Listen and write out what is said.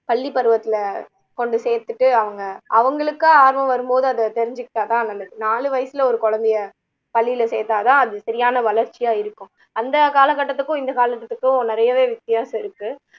பள்ளிப்பருவத்துல கொண்டு சேத்துட்டு அவங்க ஆஹ் அவங்களுக்கா ஆர்வம் வரும்போது அதை தெரிஞ்சுகிட்டா தான் நல்லது நாலு வயசுல ஒரு குழந்தைய பள்ளியில சேத்தா தான் அது சரியான வளர்ச்சியா இருக்கும் அந்த காலக்கட்டத்துக்கும் இந்த காலக்கட்டத்துக்கும் நிறையவே வித்தியாசம் இருக்கு